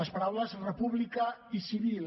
les paraules república i civil